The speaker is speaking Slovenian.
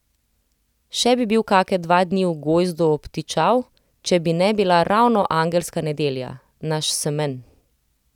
Še bi bil kake dva dni v Gojzdu obtičal, če bi ne bila ravno angelska nedelja, naš semenj.